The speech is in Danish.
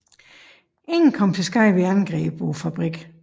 Ingen kom til skade ved angrebet på fabrikken